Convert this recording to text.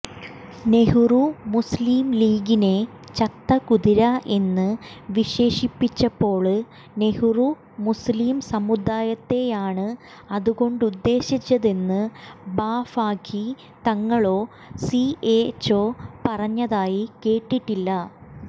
നെഹ്റു മുസ്ലിംലീഗിനെ ചത്ത കുതിര എന്ന് വിശേഷിപ്പിച്ചപ്പോള് നെഹ്റു മുസ്ലിം സമുദായത്തെയാണ് അതുകൊണ്ടുദ്ദേശിച്ചതെന്ന് ബാഫഖി തങ്ങളോ സിഎച്ചോ പറഞ്ഞതായി കേട്ടിട്ടില്ല